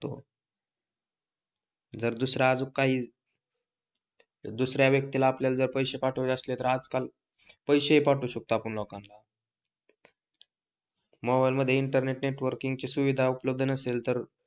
जर दुसरे अजुनकही दुसऱ्या व्यक्तीला आपल्याला काही पैसे पाठवायचे असतील तर आजकाल पैसे हि पाठवू शकतो लोकांना मोबाइल मध्ये इंटरनेट नेटवर्किंग ची सुविधा उपलब्द नसेल तर,